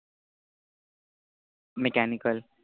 mechanical